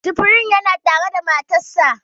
Jibril yana tare da matarsa